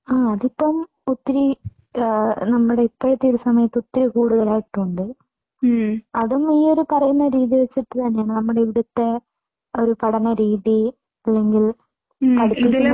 ആ. അതിപ്പോ ഒത്തിരി നമ്മുടെ ഇപ്പോഴത്തെ ഈ സമയത്ത് ഒത്തിരി കൂടുതലായിട്ടുണ്ട്. അതും ഈ പറയുന്നോരു രീതി വച്ചിട്ട് തന്നെ നമ്മുടെ ഇവിടുത്തെ ഒരു പഠന രീതി അല്ലെങ്കിൽ